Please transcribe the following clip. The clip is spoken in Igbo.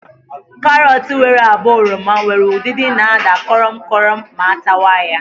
Karọt nwere agba oroma nwere udidi na àda korom korom ma atawa ya.